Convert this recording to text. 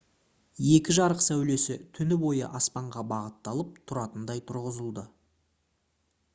екі жарық сәулесі түні бойы аспанға бағытталып тұратындай тұрғызылды